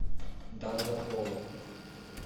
долгополов